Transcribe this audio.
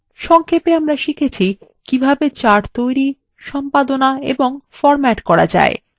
সংক্ষেপে আমরা শিখেছি কিভাবে: charts তৈরি সম্পাদনা এবং ফরম্যাট করা যায়